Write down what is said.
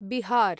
Bihar